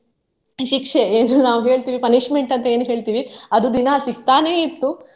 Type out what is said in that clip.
ಶಿಕ್ಷೆ ಏನು ನಾವು ಹೇಳ್ತೇವೆ punishment ಅಂತ ಏನು ಹೇಳ್ತೀವಿ ಅದು ದಿನಾ ಸಿಗ್ತಾನೆ ಇತ್ತು.